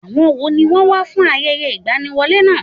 Àwọn wo ni wọ́n wá fún ayẹyẹ ìgbaniwọlé náà?